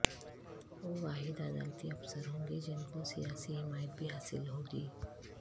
وہ واحد عدالتی افسر ہونگے جن کو سیاسی حمایت بھی حاصل ہو گی